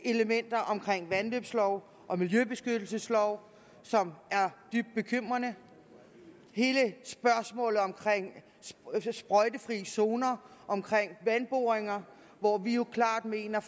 elementer om vandløbslov og miljøbeskyttelseslov som er dybt bekymrende hele spørgsmålet om sprøjtefri zoner omkring vandboringer hvor vi jo klart mener